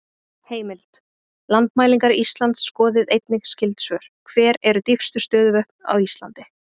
Heimild: Landmælingar Íslands Skoðið einnig skyld svör: Hver eru dýpstu stöðuvötn á Íslandi?